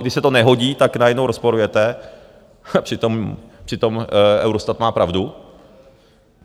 když se to nehodí, tak najednou rozporujete, přitom Eurostat má pravdu.